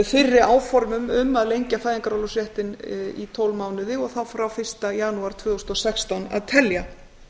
fyrri áformum um að lengja fæðingarorlofsréttinn í tólf mánuði og þá frá fyrsta janúar tvö þúsund og sextán að telja